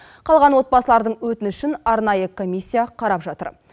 қалған отбасылардың өтінішін арнайы комиссия қарап жатыр